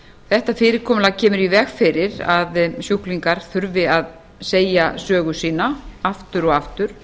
þetta fyrirkomulag kemur í veg fyrir að sjúklingar þurfi að segja sögu sína aftur og aftur